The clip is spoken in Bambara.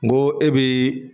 N go e bi